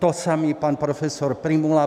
To samé pan profesor Prymula.